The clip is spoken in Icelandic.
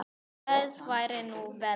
Það væri nú verra.